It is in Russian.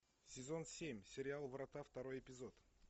сезон семь сериал врата второй эпизод